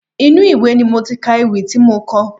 Inú ìwé ni mo ti ka ewì tí mo kọ.